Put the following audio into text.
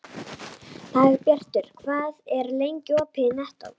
Dagbjartur, hvað er lengi opið í Nettó?